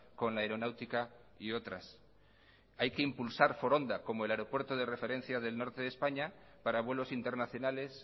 con la aeronáutica y otras hay que impulsar foronda como el aeropuerto de referencia del norte de españa para vuelos internacionales